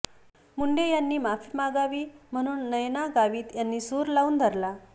मुंडे यांनी माफी मागावी म्हणून नयना गावित यांनी सूर लावून धरला